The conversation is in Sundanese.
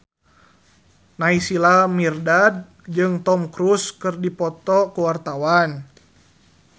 Naysila Mirdad jeung Tom Cruise keur dipoto ku wartawan